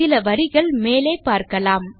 சில வரிகள் மேலே பார்க்கலாம்